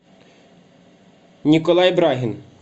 николай брагин